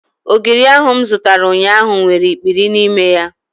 Ogiri ahu mụ zụtara ụnyaahụ nwere ikpiri n'ime ya